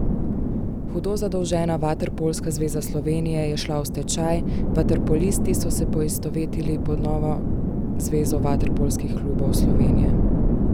Hudo zadolžena Vaterpolska zveza Slovenije je šla v stečaj, vaterpolisti so se poistovetili pod novo Zvezo vaterpolskih klubov Slovenije.